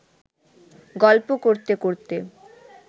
গল্প করতে করতে